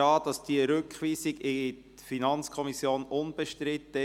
Ich nehme fast an, die Rückweisung in die FiKo sei unbestritten.